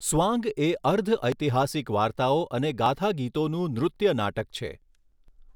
સ્વાંગ એ અર્ધ ઐતિહાસિક વાર્તાઓ અને ગાથાગીતોનું નૃત્ય નાટક છે.